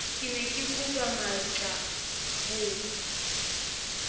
ke ne kekopa matlaa ho